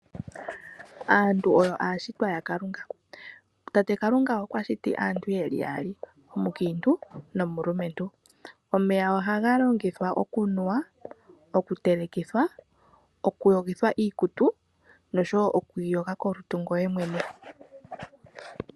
Aantu oyo aashitwa yaKalunga. Tate Kalunga okwa shiti aantu ye li yaali, omukiintu nomulumentu. Omeya ohaga longithwa okunuwa, okutelekitha, okuyogitha iikutu, noshowo okwiiyoga kolutu, ngoye mwene.